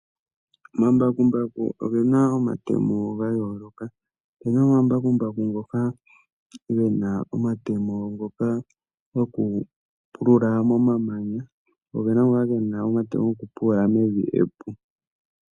Omambakumbaku ogena omatemo ga yooloka. Opena ngoka gena omatemo gokupulula momamanya po opena ngoka gokupulula mevi epu.